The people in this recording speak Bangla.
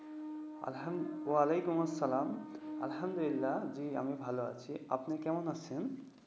আসালাম ওয়ালিকুম আসসালাম, আলহামদুলিল্লাহ্‌, জ্বি আমি ভালো আছি। আপনি কেমন আছেন?